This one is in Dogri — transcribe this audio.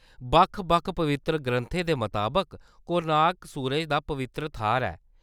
बक्ख-बक्ख पवित्तर ग्रंथें दे मताबक, कोणार्क सूरज दा पवित्तर थाह्‌‌‌र ऐ।